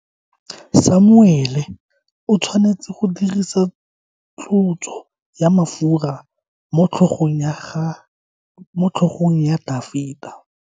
Samuele o tshwanetse go dirisa tlotso ya mafura motlhogong ya Dafita.